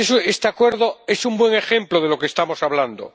Este acuerdo es un buen ejemplo de lo que estamos hablando.